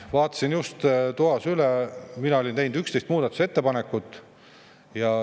Vaatasin just toas üle, mina olin teinud 11 muudatusettepanekut.